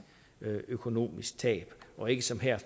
økonomisk tab og ikke som her